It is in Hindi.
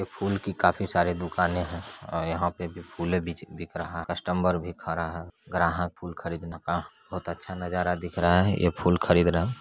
फूल की काफी सारी दुकाने है यहां पे भी फूले बिक रहा है कस्टमर भी खड़ा है ग्राहक फूल खरीद ने का बहुत अच्छा नजारा दिख रहा है ये फूल खरीद रहे है।